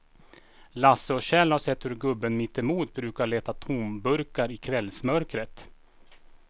Lasse och Kjell har sett hur gubben mittemot brukar leta tomburkar i kvällsmörkret.